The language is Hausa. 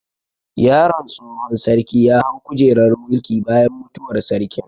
Yaron tsohon sarki ya hau kujerar mulki bayan mutuwar sarkin